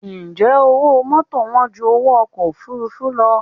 Ǹjẹ́ owó mọ́tò wán ju owó ọkọ̀ òfuurufú lọ?